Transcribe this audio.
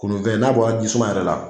Kunnunfɛn n'a bɔra ji suman yɛrɛ la